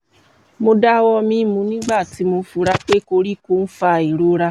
mo dawọ mimu nigbati mo fura pe koriko n fa irora